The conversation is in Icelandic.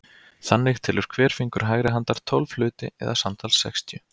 Þannig telur hver fingur hægri handar tólf hluti eða samtals sextíu.